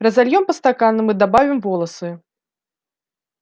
разольём по стаканам и добавим волосы